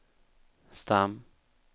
stam